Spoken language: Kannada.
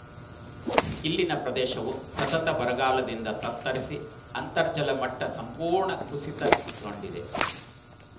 ಇಲ್ಲಿನ ಪ್ರದೇಶವು ಸತತ ಬರಗಾಲದಿಂದ ತತ್ತರಿಸಿ ಅಂತರ್ಜಲಮಟ್ಟಸಂಪೂರ್ಣ ಕುಸಿತಗೋಂಡಿದೆ